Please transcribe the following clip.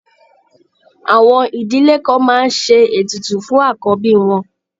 Àwọn ìdílé kan máa ń ṣe ètùtù fún àkọ́bí wọn.